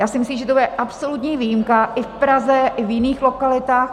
Já si myslím, že to bude absolutní výjimka, i v Praze, i v jiných lokalitách.